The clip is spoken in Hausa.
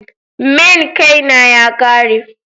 main Kay na ya Kare.